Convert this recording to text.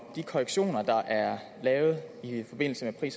de korrektioner der er lavet i forbindelse med